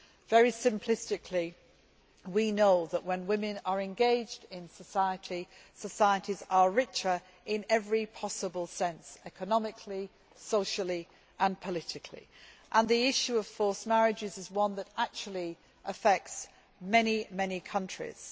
Very simplistically, we know that when women are engaged in society, societies are richer in every possible sense economically, socially and politically, and the issue of forced marriages is one that affects many countries.